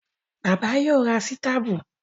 Bàbá yóò ra sítàbù